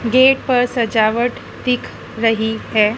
Gate पर सजावट दिख रही है।